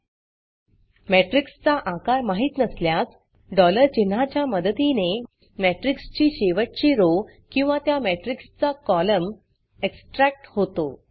matrixमेट्रिक्स चा आकार माहित नसल्यास चिन्हाच्या मदतीने matrixमेट्रिक्स ची शेवटची rowरो किंवा त्या मेट्रिक्स चा कॉलम एक्सट्रॅक्ट होतो